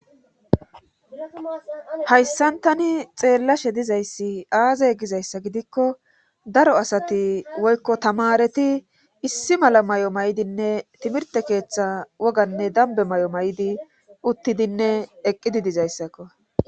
hayssan tani xeellashe dizayssi aazay gizayssa gidikko daro asati woykko tamareti issi mala mayo mayidinne timirte keeththa woganne dambe mayo mayidi uttidinne eqqidi dizayssakko.